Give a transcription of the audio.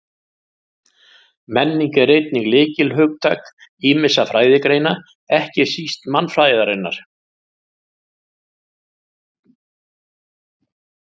Menning er einnig lykilhugtak ýmissa fræðigreina, ekki síst mannfræðinnar.